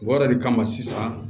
O yɛrɛ de kama sisan